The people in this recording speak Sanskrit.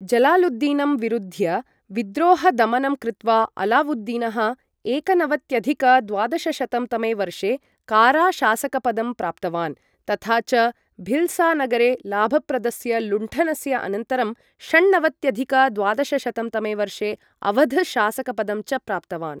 जलालुद्दीनं विरुद्ध्य विद्रोहदमनं कृत्वा, अलावुद्दीनः एकनवत्यधिक द्वादशशतं तमे वर्षे कारा शासकपदं प्राप्तवान्, तथा च भिल्सा नगरे लाभप्रदस्य लुण्ठनस्य अनन्तरं, षण्णवत्यधिक द्वादशशतं तमे वर्षे अवध् शासकपदं च प्राप्तवान्।